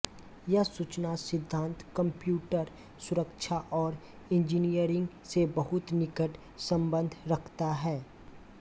यह सूचना सिद्धांत कंप्यूटर सुरक्षा और इंजीनियरिंग से बहुत निकट सम्बन्ध रखता है